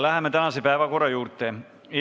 Läheme tänase päevakorra punktide juurde.